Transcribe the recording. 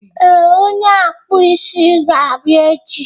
ee, onye akpụ isi ga-abịa echi